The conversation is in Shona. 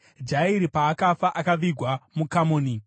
Jairi paakafa, akavigwa muKamoni.